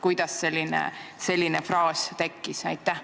Kuidas selline sõnapaar tekkis?